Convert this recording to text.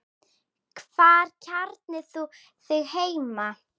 Hvar kjarnar þú þig heima?